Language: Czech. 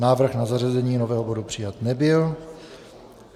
Návrh na zařazení nového bodu přijat nebyl.